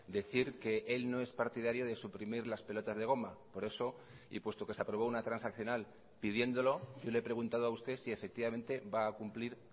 decir que él no es partidario de suprimir las pelotas de goma por eso y puesto que se aprobó una transaccional pidiéndolo yo le he preguntado a usted si efectivamente va a cumplir